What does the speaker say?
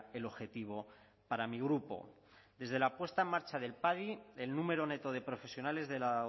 el objetivo para mi grupo desde la puesta en marcha del padi el número neto de profesionales de la